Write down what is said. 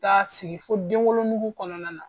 taa sigi fo denwolo nugu kɔnɔna na.